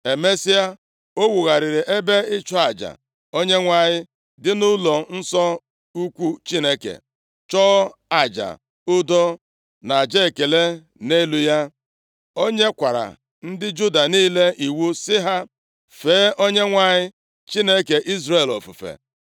Emesịa, o wugharịrị ebe ịchụ aja Onyenwe anyị dị nʼụlọnsọ ukwu Chineke, chụọ aja udo na aja ekele nʼelu ya. O nyekwara ndị Juda niile iwu sị ha fee Onyenwe anyị Chineke nke Izrel ofufe.